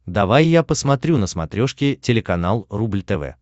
давай я посмотрю на смотрешке телеканал рубль тв